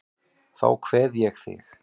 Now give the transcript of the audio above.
Þá kveð ég þig.